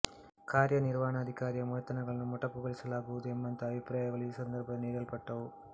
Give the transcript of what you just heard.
ಕಾರ್ಯನಿರ್ವಹಣಾಧಿಕಾರಿಯ ವೇತನಗಳನ್ನು ಮೊಟಕುಗೊಳಿಸಲಾಗುವುದು ಎಂಬಂಥ ಅಭಿಪ್ರಾಯಗಳು ಈ ಸಂದರ್ಭದಲ್ಲಿ ನೀಡಲ್ಪಟ್ಟವು